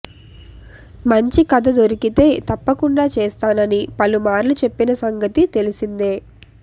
మంచి కథ దొరికితే తప్పకుండా చేస్తానని పలుమార్లు చెప్పిన సంగతి తెలిసిందే